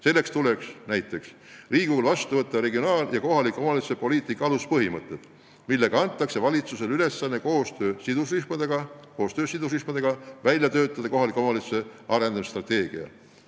Selleks tuleks Riigikogul vastu võtta regionaal- ja kohaliku omavalitsuse poliitika aluspõhimõtted, millega antakse valitsusele ülesanne koostöös sidusrühmadega välja töötada kohaliku omavalitsuse arendamise strateegia.